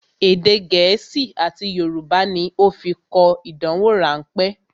Èdè gẹ̀ẹ́sì àti Yorùbá ní ó fi kọ ìdánwò rán pẹ́